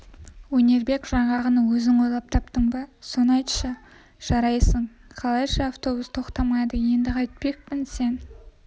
өнербек жаңағыны өзің ойлап таптың ба соны айтшы жарайсың қалайша автобус тоқтамайды енді қайтпекпін сен